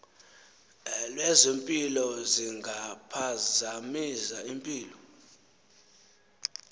lwezempilo zingaphazamisa impilo